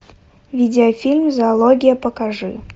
видеофильм зоология покажи